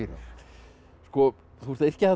þú ert að yrkja þarna